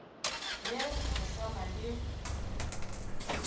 ye re sa na le